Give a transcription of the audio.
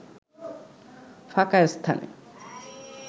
ফাঁকা স্থানে